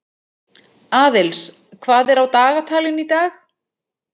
Aðils, hvað er á dagatalinu í dag?